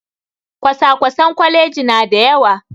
Kwasa-kwasen kwalaji na da yawa